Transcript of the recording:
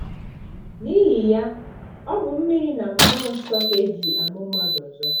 N’ihi ya, ọ bụ mmiri na mmụọ nsọ ka e ji amụ mmadụ ọzọ.